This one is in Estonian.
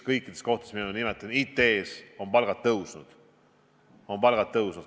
Kõikides kohtades, mida ma nimetasin, samuti IT-s on palgad tõusnud.